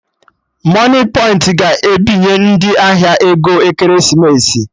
Moniepoint ga ebinye ndị ahịa ego Ekeresimesi